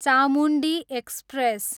Chamundi express